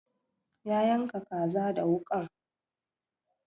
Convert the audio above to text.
Ya yanka kaza da wuƙan